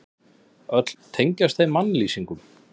Öll tengjast þau mannlýsingum.